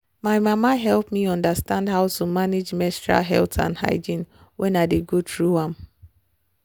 my mama help me understand how to manage menstrual health and hygiene wen i dey go through am.